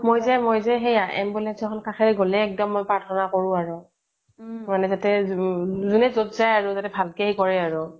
মইযে মই যে ambulance এখন কাষেৰে পাৰ হৈ গ'লে একদম মই প্ৰাৰ্থনা কৰোঁ আৰু মানে যোনে যত যায় আৰু ভালকে কৰে আৰু